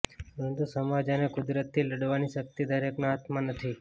પરંતુ સમાજ અને કુદરતથી લડવાની શક્તિ દરેકના હાથમાં નથી